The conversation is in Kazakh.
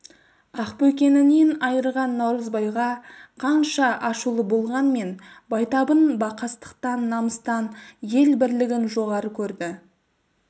ақбөкенінен айырған наурызбайға қанша ашулы болғанмен байтабын бақастықтан намыстан ел бірлігін жоғары көрді